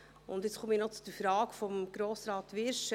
Nun komme ich noch zur Frage von Grossrat Wyrsch.